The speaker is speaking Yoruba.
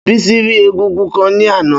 Bísí rí égúngún kan ní àná